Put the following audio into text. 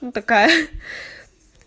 ну такая